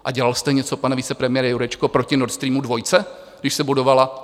A dělal jste něco, pane vicepremiére Jurečko, proti Nord Streamu 2, když se budoval?